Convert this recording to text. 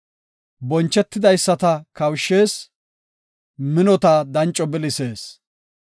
Bonchetidaysata kawushshees; minota danco bilisees.